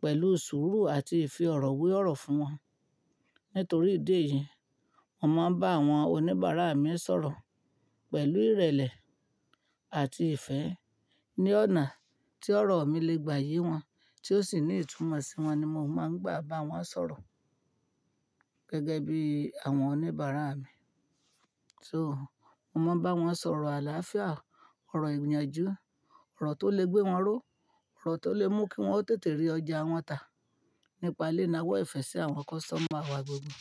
pẹ̀lú sùúrù àti ìfẹ́ ọ̀rọ̀ we ọ̀rọ̀ fún wọn. Nítorí ìdí èyí, mo máa ń bá àwọn oníbàárà mi sọ̀rọ̀ pẹ̀lú ìrẹ̀lẹ̀ àti ìfẹ́ ní ọ̀nà tí ọ̀rọ̀ mi lè gbaye wọn tí ó sì ní ìtumọ̀ sí wọn ní mo máa ń gbà bá wọn sọ̀rọ̀ gẹ́gẹ́ bí àwọn oníbàárà mi. So, mo máa ń bá wọn sọ̀rọ̀ àlàáfíà, ọ̀rọ̀ ìyànjú, ọ̀rọ̀ tó lè gbé wọn ró, ọ̀rọ̀ tó lè mú kí wọ́n ó tètè rí ọjà wọn tà. Nípa lé náà ọwọ ifẹ́ sí àwọn customer wa gbogbo.